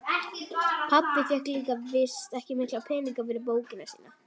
Pabbi fékk víst ekki mikla peninga fyrir bókina sína.